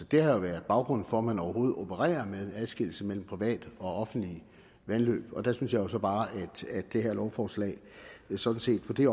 det har jo været baggrunden for at man overhovedet opererer med en adskillelse mellem private og offentlige vandløb og der synes jeg jo så bare at det her lovforslag sådan set på det